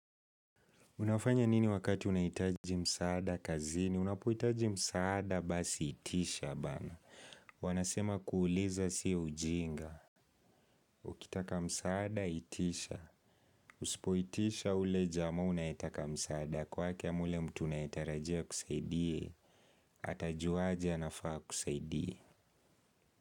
Unafanya nini wakati unahitaji msaada kazini? Unapohitaji msaada basi itisha baana. Wanasema kuuliza sio ujinga. Ukitaka msaada itisha. Usipoitisha ule jamaa unayetaka msaada. Kwake ama ule mtu unayetarajia akusaidie, atajuaje anafaa akusaidie.